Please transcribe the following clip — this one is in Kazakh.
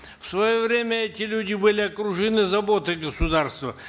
в свое время эти люди были окружены заботой государства